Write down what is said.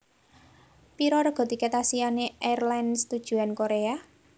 Piro rega tiket Asiana Airlines tujuan Korea?